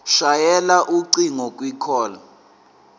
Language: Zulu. shayela ucingo kwicall